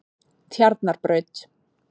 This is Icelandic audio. Tjarnarbraut